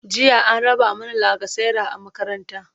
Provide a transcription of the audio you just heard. jiya an raba mana lacasera a makaranta